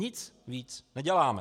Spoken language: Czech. Nic víc neděláme.